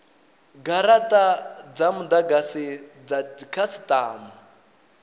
garata dza mudagasi dza dzikhasitama